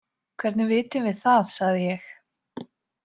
Hvernig vitum við það, sagði ég.